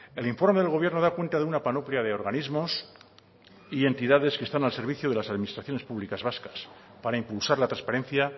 el informe del gobierno da cuenta de una panoplia de organismos y entidades que están al servicio de las administraciones públicas vascas para impulsar la transparencia